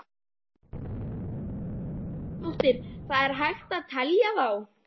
Erla Björg Gunnarsdóttir: Það er hægt að telja þá?